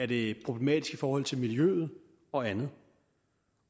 det er problematisk i forhold til miljøet og andet